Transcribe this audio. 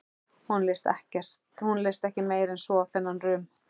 Honum leist ekki meira en svo á þennan rum.